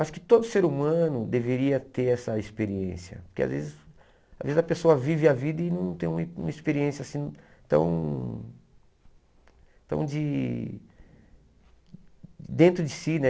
Acho que todo ser humano deveria ter essa experiência, porque às vezes às vezes a pessoa vive a vida e não tem uma uma experiência assim tão... tão de... dentro de si, né?